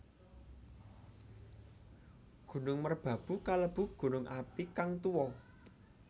Gunung Merbabu kalebu gunung api kang tuwa